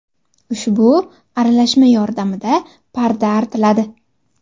Ushbu aralashma yordamida parda artiladi.